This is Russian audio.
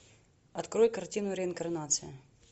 открой картину реинкарнация